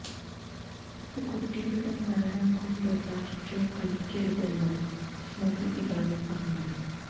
ഒരു കുട്ടിയുടെ മരണം കൊണ്ട് രാഷ്ട്രീയം കളിക്കരുതെന്ന് സ്മൃതി ഇറാനി പറഞ്ഞു